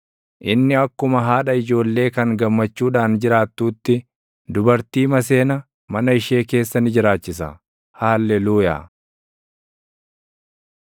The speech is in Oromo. Inni akkuma haadha ijoollee kan gammachuudhaan jiraattuutti, dubartii maseena mana ishee keessa ni jiraachisa. Haalleluuyaa.